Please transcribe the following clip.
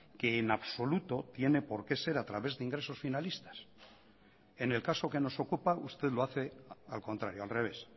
que en absoluto tiene porqué ser a través de ingresos finalistas en el caso que nos ocupa usted lo hace al contrario al revés